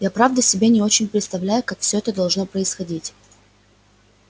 я правда себе не очень представляю как все это должно происходить